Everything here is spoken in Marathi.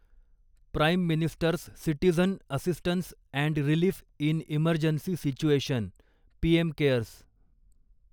prime ministers citizen assistance and relief in emergency situation PM CARES